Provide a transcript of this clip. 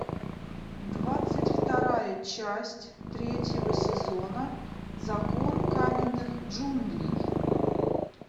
двадцать вторая часть третьего сезона закон каменных джунглей